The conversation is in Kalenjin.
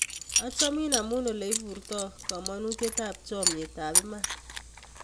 Achomin amun oleiportoi kamanutyetap chomyet ap iman.